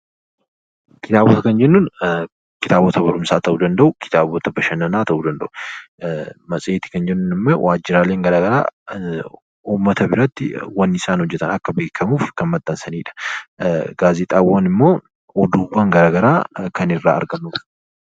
Kitaabota kan jennuun kitaabota barumsaa ta'uu danda'u, kitaabota bashannanaa ta'uu danda'u. Matseetii kan jennuun immoo waajira garaagaraa uummata biratti akka beekamuuf kan maxxansanidha. Geezexaawwan immoo ogummaawwan garaagaraa kan irraa argannudha.